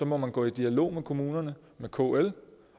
må gå i dialog med kommunerne med kl